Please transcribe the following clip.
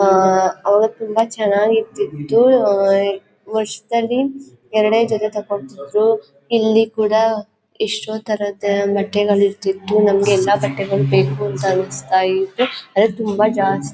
ಅವತ್ತಿಂದ ಚೆನ್ನಾಗಿರ್ತಿತ್ತು ವರ್ಷ್ದಲ್ಲಿ ಎರಡೇ ಜತೆ ತಕೊಂಡತಿದ್ರು ಇಲ್ಲಿಕೂಡ ಎಷ್ಟೋ ತರದ ಬಟ್ಟೆಗಳು ಇರ್ತಿತ್ತು ನಮಗೆ ಎಲ್ಲ ಬಟ್ಟೆಗಳು ಬೇಕು ಅಂತ ಅನಸ್ತಇತ್ತು ಆದ್ರೆ ತುಂಬಾ ಜಾಸ್ತಿ --